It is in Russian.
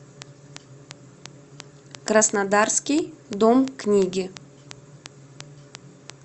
краснодарский дом книги